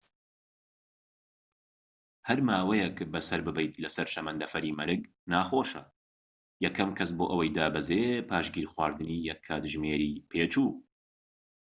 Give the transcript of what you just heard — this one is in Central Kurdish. هەر ماوەیەك بەسەر ببەیت لەسەر شەمەندەفەری مەرگ ناخۆشە یەکەم کەس بۆ ئەوەی دابەزێت پاش گیرخواردنی یەك کاتژمێری پێچوو